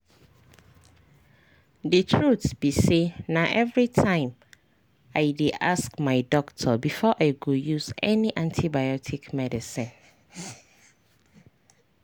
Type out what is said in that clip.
the truth be sayna everytime i dey ask my doctor before i go use any antibiotic medicine.